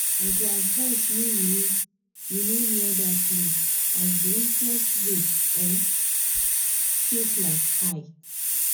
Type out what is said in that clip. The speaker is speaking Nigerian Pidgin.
i go advise make you no you no near that loan as the interest rate um take like high